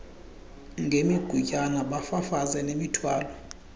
ngemigutyana bafafaze nemithwalo